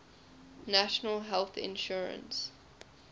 national health insurance